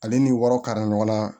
Ale ni wɔɔrɔ kara ɲɔgɔn na